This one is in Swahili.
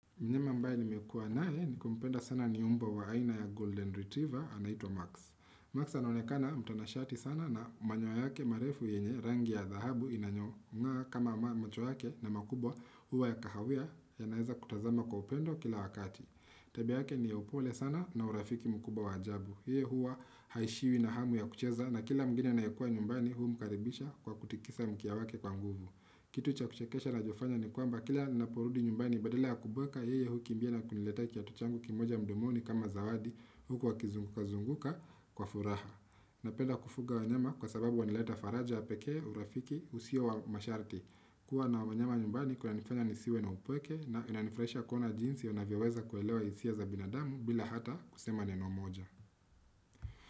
Mbwa ambaye nimekua naye na kumpenda sana ni mbwa wa aina ya Golden Retriever anaitwa Max. Max anaonekana mtanashati sana na manyoya yake marefu yenye rangi ya dhahabu inayong'aa kama macho yake na makubwa huwa ya kahawia yanaweza kutazama kwa upendo kila wakati. Tabia yake ni ya upole sana na urafiki mkubwa wa ajabu. Yeye huwa haishiwi na hamu ya kucheza na kila mgeni anayekuwa nyumbani humkaribisha kwa kutikisa mkia wake kwa nguvu. Kitu cha kuchekesha anachofanya ni kwamba kila ninaporudi nyumbani badala ya kubweka yeye hukimbia na kuniletea kiatu changu kimoja mdomoni kama zawadi huku akizunguka zunguka kwa furaha. Ninapenda kufuga wanyama kwa sababu wanaleta faraja ya pekee urafiki usio wa masharti. Kua na wanyama nyumbani kunanifanya nisiwe na upweke na inanifurahisha kuona jinsi wanavyoweza kuelewa hisia za binadamu bila hata kusema neno moja.